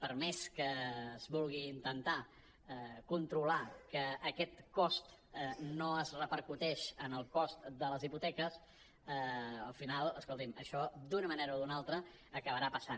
per més que es vulgui intentar controlar que aquest cost no es repercuteix en el cost de les hipoteques al final es·colti’m això d’una manera o d’una altra acabarà passant